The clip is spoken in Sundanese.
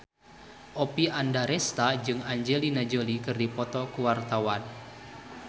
Oppie Andaresta jeung Angelina Jolie keur dipoto ku wartawan